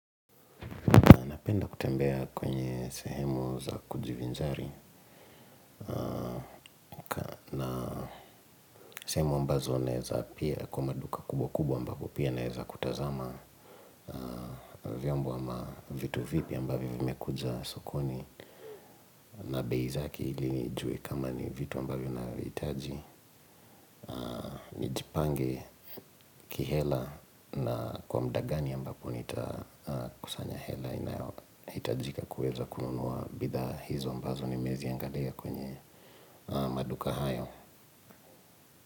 Napenda kutembea kwenye sehemu za kujivinjari, sehemu ambazo naeza pia kwa maduka kubwa kubwa ambapo pia naeza kutazama vyombo ama vitu vipya ambavyo vimekuja sokoni na bei zake ili nijue kama ni vitu ambavyo naviitaji nijipange kihela na kwa mdagani ambapo nitakusanya hela. Itajika kuweza kununuwa bidhaa hizo ambazo ni meziangalia kwenye maduka hayo.